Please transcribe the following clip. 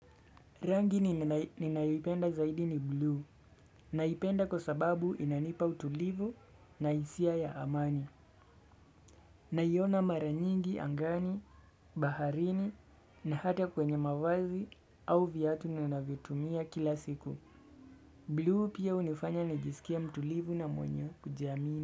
Rangi ninayoipenda zaidi ni buluu. Naipenda kwa sababu inanipa utulivu na hisia ya amani. Naiona mara nyingi angani, baharini na hata kwenye mavazi au viatu ninavyotumia kila siku. Blue pia hunifanya nijisikie mtulivu na mwenye kujiamini.